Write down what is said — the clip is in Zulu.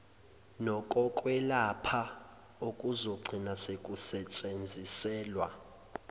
nokokwelapha okuzogcina sekusetshenziselwa